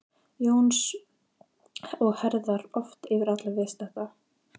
Jóns og herðar oft yfir alla viðstadda.